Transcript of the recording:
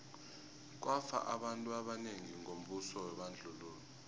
kwafa abantu abanengi ngombuso webandlululo